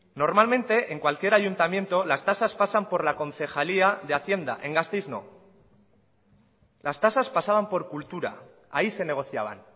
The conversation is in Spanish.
normalmente en cualquier ayuntamiento las tasas pasan por la concejalía de hacienda en gasteiz no las tasas pasaban por cultura ahí se negociaban